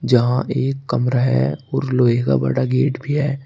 जहां एक कमरा है और लोहे का बड़ा गेट भी है।